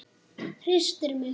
Hristir mig.